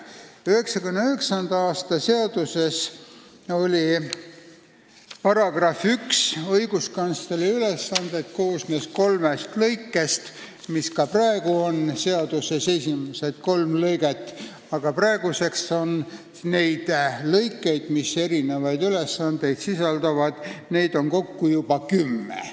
1999. aasta seaduse § 1 "Õiguskantsleri ülesanded" koosnes kolmest lõikest, mis ka praegu on seaduse esimesed kolm lõiget, aga nüüd on neid lõikeid, mis erinevaid ülesandeid sisaldavad, kokku juba kümme.